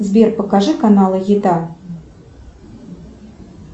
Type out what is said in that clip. сбер покажи каналы еда